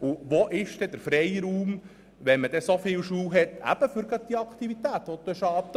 Und wo bleibt dann der Freiraum für die erwähnten Aktivitäten?